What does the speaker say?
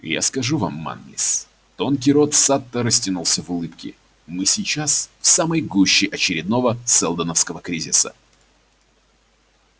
я скажу вам манлис тонкий рот сатта растянулся в улыбке мы сейчас в самой гуще очередного сэлдоновского кризиса